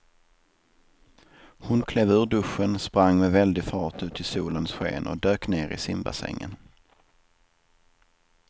Hon klev ur duschen, sprang med väldig fart ut i solens sken och dök ner i simbassängen.